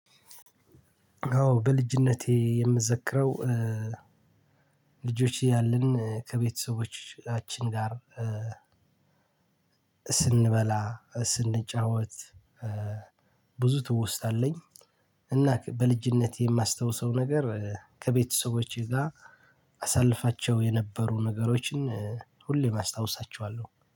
አዎ በልጅነቴ የምዘክረው ልጆች እያለን ከቤተሰቦቻችን ጋር- ስንበላ ስንጫወት ብዙ ትውስታ አለኝ። እና በልጅነቴ የማስታውሰው ነገር ከቤተሰቦቼ ጋር አሳልፋቸው የነበሩ ነገሮችን ሁሌም አስታውሳቸዋለሁ።